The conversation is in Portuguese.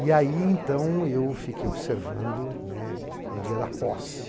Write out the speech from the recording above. E aí, então, eu fiquei observando, né, o dia da posse.